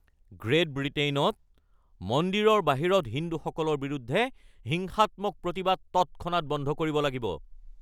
great ব্ৰিটেইনত মন্দিৰৰ বাহিৰত হিন্দুসকলৰ বিৰুদ্ধে হিংসাত্মক প্ৰতিবাদ তৎক্ষণাত বন্ধ কৰিব লাগিব